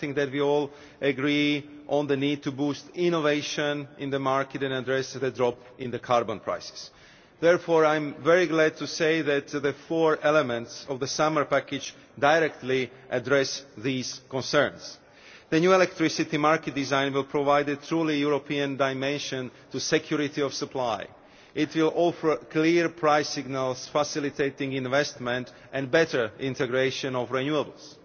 I think that we all agree on the need to boost innovation in the market and address the drop in carbon prices. Therefore, I am very glad to say that the four elements of the summer package directly address these concerns. The new electricity market design will provide a truly European dimension to security of supply. It will offer clear price signals, facilitating investment and better integration of renewables.